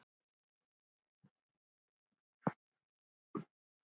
Nefnd hér eftir